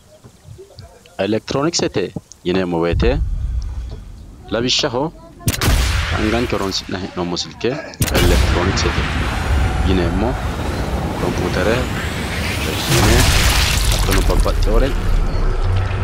elektironikesete yineemmo woyiite anganke lawishshaho anganke horonsi'nayi he'noommo silke elektironikesete yineemmo compuutere televiyiine hattono babbaxxewore